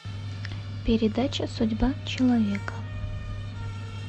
передача судьба человека